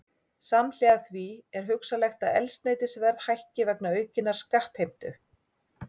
Samhliða því er hugsanlegt að eldsneytisverð hækki vegna aukinnar skattheimtu.